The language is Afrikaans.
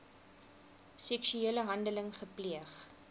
seksuele handeling gepleeg